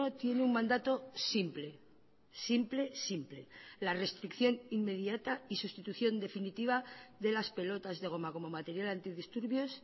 tiene un mandato simple simple simple la restricción inmediata y sustitución definitiva de las pelotas de goma como material antidisturbios